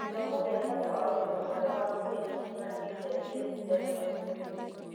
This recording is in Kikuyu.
Gĩthomo kia bata wa ũgima mwega wa mwĩri kĩbatie kianjie tene macukuruinĩ.